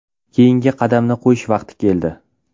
Keyingi qadamni qo‘yish vaqti keldi.